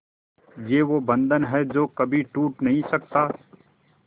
ये वो बंधन है जो कभी टूट नही सकता